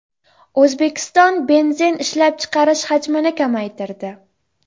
O‘zbekiston benzin ishlab chiqarish hajmini kamaytirdi.